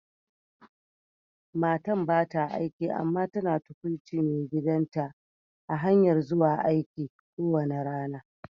Matan ba ta aiki amma tana tukwuci maigidan ta a'hanyan zuwa aiki kowani rana.